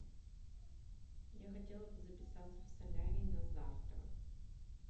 я хотела бы записаться в солярий на завтра